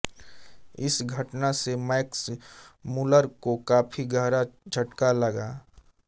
इस घटना से मैक्स मूलर को काफी गहरा झटका लगा